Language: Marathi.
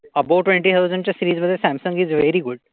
अबाव ट्वेंटी थाव्झंड च्या सिरीज मध्ये सॅमसंग वेरी गुड.